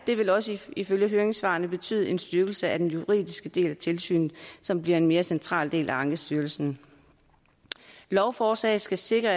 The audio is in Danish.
det vil også ifølge høringssvarene betyde en styrkelse af den juridiske del af tilsynet som bliver en mere central del af ankestyrelsen lovforslaget skal sikre